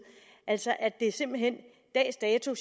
altså at det simpelt hen dags dato